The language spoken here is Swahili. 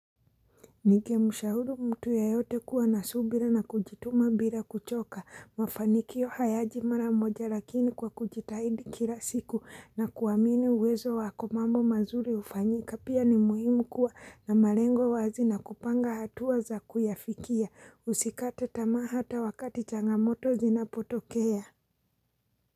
Ningemshauri mtu yeyote kuwa na subira na kujituma bila kuchoka mafanikio hayaji mara moja lakini kwa kujitahidi kila siku na kuamini uwezo wako mambo mazuri hufanyika pia ni muhimu kuwa na malengo wazi na kupanga hatua za kuyafikia usikate tamaa hata wakati changamoto zinapotokea.